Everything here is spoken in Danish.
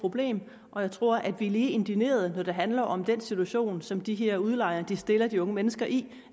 problem og jeg tror at vi er lige indignerede når det handler om den situation som de her udlejere stiller de unge mennesker i